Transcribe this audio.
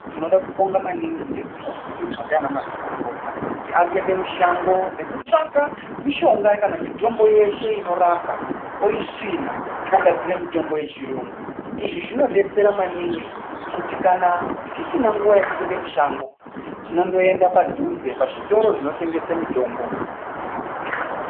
Tinoda kubonga maningi nezviro zviri kuizwaa ndivana mazvikokota kuti ari kuende mushangoo nekutsvaka mishonga kana mitombo yeshe inorapa, oisvina ogadzire mitombo yechiyungu, izvi zvinodetsera maningi ngokuti kana tisina nguva yokupinde mushango tinondoenda padhuze pachitoro zvinotengese mitombo.